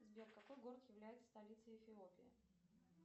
сбер какой город является столицей эфиопии